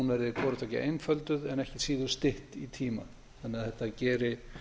verði hvorutveggja einfölduð en ekki síður stytt í tíma þannig að þetta geri